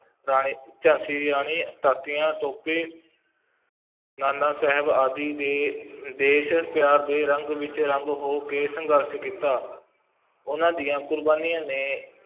ਰਾਣੀ, ਝਾਂਸੀ ਦੀ ਰਾਣੀ ਤਾਂਤੀਆਂ ਤੋਪੇ ਨਾਨਾ ਸਾਹਿਬ ਆਦਿ ਨੇ ਦੇਸ਼ ਪਿਆਰ ਦੇ ਰੰਗ ਵਿੱਚ ਰੰਗ ਹੋ ਕੇ ਸੰਘਰਸ਼ ਕੀਤਾ, ਉਹਨਾਂ ਦੀਆਂ ਕੁਰਬਾਨੀਆਂ ਨੇ